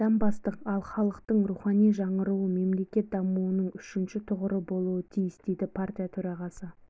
қадам бастық ал халықтың рухани жаңғыруы мемлекет дамуының үшінші тұғыры болуы тиіс дейді партия төрағасы